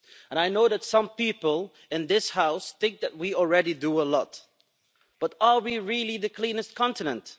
I know that some people in this House think that we already do a lot, but are we really the cleanest continent?